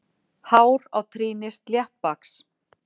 Hár á trýni sléttbaks.